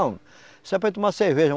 tomar cerveja.